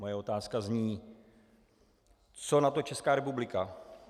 Moje otázka zní: Co na to Česká republika?